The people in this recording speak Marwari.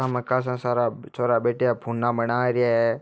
माकन में खासा छोरा बैठिया है फोना बाना रहिया है।